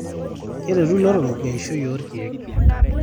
keretu ilotorok eishoi oo irkiek